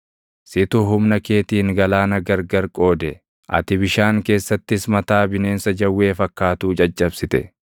Situ humna keetiin galaana gargar qoode; ati bishaan keessattis mataa bineensa jawwee fakkaatuu caccabsite.